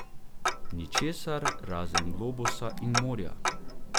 Ničesar, razen globusa in morja.